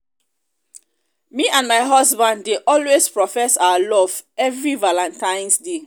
me and my husband dey always profess our love every valantine's day